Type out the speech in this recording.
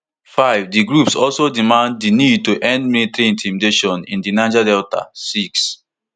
five di groups also demand di need to end military intimidation in di niger delta six